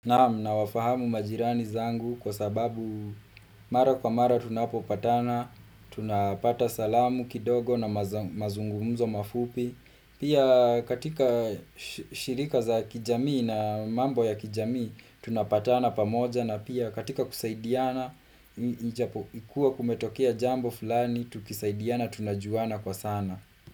Naamu, nawafahamu majirani zangu kwa sababu mara kwa mara tunapopatana, tunapata salamu kidogo na mazungumzo mafupi. Pia katika shirika za kijamii na mambo ya kijamii, tunapatana pamoja na pia katika kusaidiana, ikue kumetokea jambo fulani, tukisaidiana, tunajuana kwa sana.